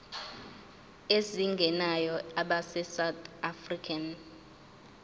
ezingenayo abesouth african